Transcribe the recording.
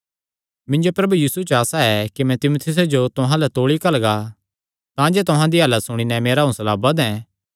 मिन्जो प्रभु यीशु च आसा ऐ कि मैं तीमुथियुसे जो तुहां अल्ल तौल़ी घल्लगा तांजे तुहां दी हालत सुणी नैं मेरा हौंसला बधें